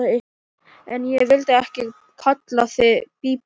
En ég vildi ekki kalla þig Bíbí.